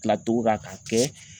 Tilacogo ka k'a kɛ